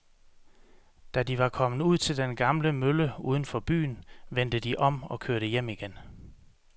Da de var kommet ud til den gamle mølle uden for byen, vendte de om og kørte hjem igen.